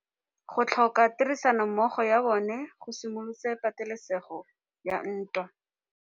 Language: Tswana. Go tlhoka tirsanommogo ga bone go simolotse patêlêsêgô ya ntwa.